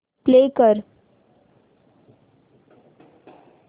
play कर